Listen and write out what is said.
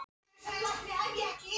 Ný mynd kom síðan alltaf í ljós.